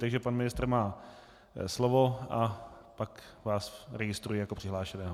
Takže pan ministr má slovo a pak vás registruji jako přihlášeného.